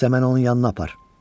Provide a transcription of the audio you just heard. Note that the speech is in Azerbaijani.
İndi isə mən onun yanına apar.